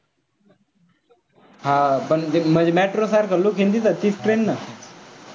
हां पण त्या म्हणजे metro सारखं look आहे ना त्या train ने